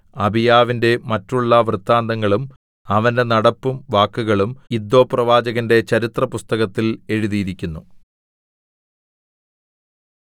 അബീയാവിന്റെ മറ്റുള്ള വൃത്താന്തങ്ങളും അവന്റെ നടപ്പും വാക്കുകളും ഇദ്ദോപ്രവാചകന്റെ ചരിത്രപുസ്തകത്തിൽ എഴുതിയിരിക്കുന്നു